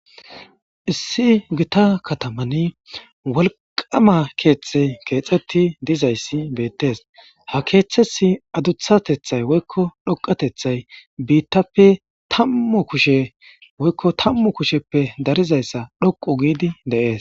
issi gita katamani wolqama keeththe keexetti dizayssi beettes ha keeththessi aduthatethay woykko dhoqatethay biittappe tammu kushe woykko tammu kusheppe darizayssa dhoqu giidi de7ees.